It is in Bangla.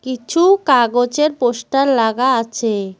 কিছু কাগজের পোস্টার লাগা আছে।